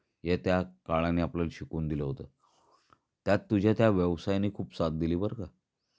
हे त्या काळानी आपल्याला शिकवून दिल होत. त्यात तुझ्या त्या व्यवसायनी खूप साथ दिली बर का.